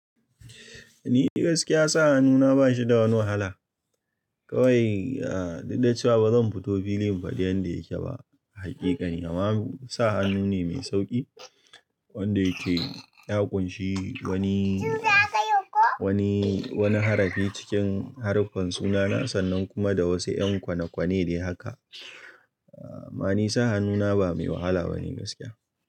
Ni gaskiya sa hannu na ba shi da wani wahala. Kawai, ah, duk da cewa ba zan fito filin faɗi yanda yake ba, haƙiƙan. Amma sa hannu ne mai sauƙi wanda yake ya ƙunshi wani, wani, wani harafi cikin haruffan sunana sannan kuma da wasu 'yan kwane-kwane dai haka. Amma ni sa hannuna ba mai wahala bane gaskiya.